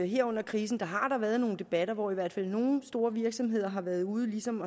her under krisen har været nogle debatter hvor i hvert fald nogle store virksomheder har været ude og ligesom